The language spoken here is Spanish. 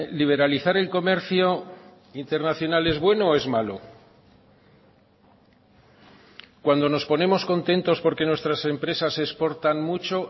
liberalizar el comercio internacional es bueno o es malo cuando nos ponemos contentos porque nuestras empresas exportan mucho